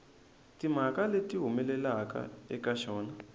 timhaka leti humelelaka eka xona